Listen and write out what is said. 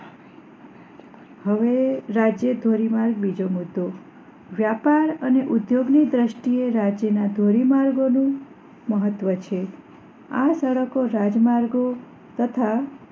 હવે રાષ્ટ્રીય ધોરીમાર્ગ બીજો મુદ્દો વ્યાપાર અને ઉદ્યોગ ની દ્રષ્ટિ એ રાષ્ટ્રીય ના ધોરી માર્ગો નું મહત્વ છે આ સડકો રાજ માર્ગો તથા